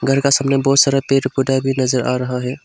घर का सामने बहुत सारा पेड़ पौधा भी नजर आ रहा है।